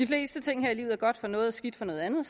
fleste ting her i livet er godt for noget og skidt for noget andet